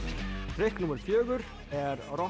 trikk númer fjögur er